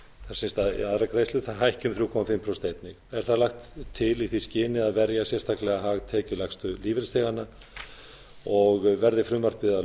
er aðrar greiðslur hækki einnig um þrjú og hálft prósent er það lagt til í því skyni að verja sérstaklega hag tekjulægstu lífeyrisþeganna og verði frumvarpið að